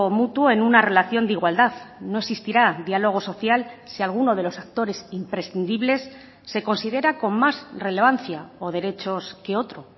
mutuo en una relación de igualdad no existirá diálogo social si alguno de los actores imprescindibles se considera con más relevancia o derechos que otro